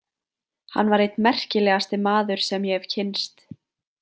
Hann var einn merkilegasti maður sem ég hef kynnst.